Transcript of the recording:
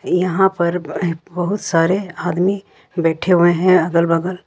यहां पर बहुत सारे आदमी बैठे हुए हैं अगल बगल।